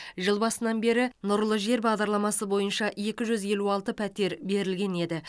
жыл басынан бері нұрлы жер бағдарламасы бойынша екі жүз елу алты пәтер берілген еді